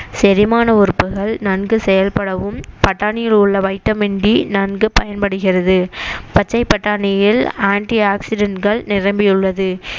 செரிமான உறுப்புகள் நன்கு செயல்படவும் பட்டாணியில் உள்ள வைட்டமின் டி நன்கு பயன்படுகிறது பச்சை பட்டாணியில் ஆன்டிஆக்ஸிடன்ட்கள் நிரம்பியுள்ளது